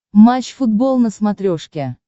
матч футбол на смотрешке